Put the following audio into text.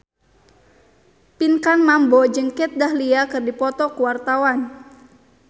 Pinkan Mambo jeung Kat Dahlia keur dipoto ku wartawan